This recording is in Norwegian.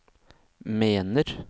mener